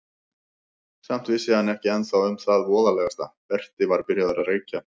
Samt vissi hann ekki ennþá um það voðalegasta: Berti var byrjaður að reykja.